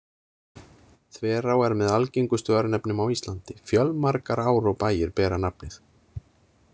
Þverá er með algengustu örnefnum á Íslandi, fjölmargar ár og bæir bera nafnið.